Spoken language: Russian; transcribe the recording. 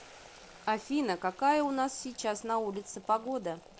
афина какая у нас сейчас на улице погода